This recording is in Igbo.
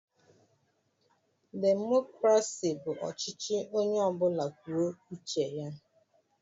Demokraci bụ ọchịchị Onye ọbula kwụọ uche ya.